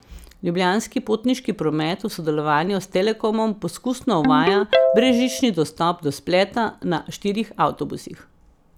Ljubljanski potniški promet v sodelovanju s Telekomom poskusno uvaja brezžični dostop do spleta na štirih avtobusih.